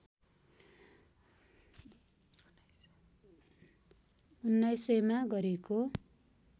१९०० मा गरिएको